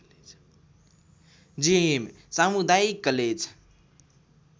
जियम सामुदायिक कलेज